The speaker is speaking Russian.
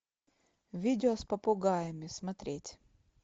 видео с попугаями смотреть